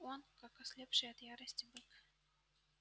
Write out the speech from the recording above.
он как ослепший от ярости бык